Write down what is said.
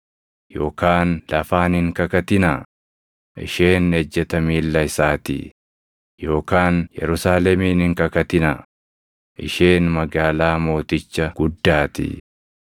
yookaan lafaan hin kakatinaa; isheen ejjeta miilla isaatii; yookaan Yerusaalemiin hin kakatinaa; isheen magaalaa Mooticha Guddaatii.